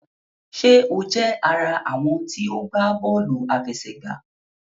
Ṣé o jẹ àrà àwọn tí o gbà bóòlù àfẹsẹ̀gbá?